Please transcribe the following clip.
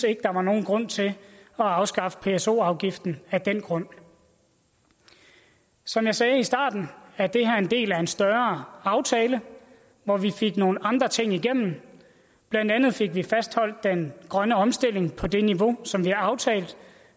ikke der var nogen grund til at afskaffe af pso afgiften af den grund som jeg sagde i starten er det her en del af en større aftale hvor vi fik nogle andre ting igennem blandt andet fik vi fastholdt den grønne omstilling på det niveau som vi har aftalt